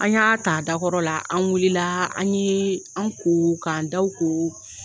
An y'a ta a dakɔrɔ la, an wulila an ye an ko, k'an da ko.